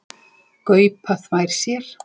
Gaupa þvær sér.